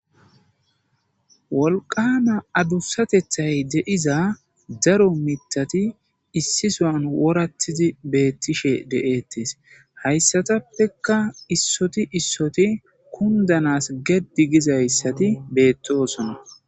Wolqaama adussatethay de'iza daro miththati issisuwan worattidi beetishe de'ettes hayssatappeka issoti issoti kundanas geddi gizayssati beettosona.